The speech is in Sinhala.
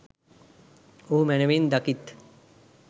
ඔහු මැනවින් දකිත්.